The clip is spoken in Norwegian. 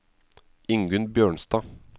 Ingunn Bjørnstad